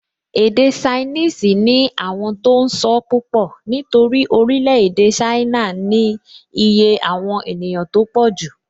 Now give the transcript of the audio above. Èdè ṣainíìsì ní àwọn tó n sọ́ púpọ̀ nítorí orílẹ̀-èdè ṣáínà ní iye àwọn ènìyàn tó pọ̀jù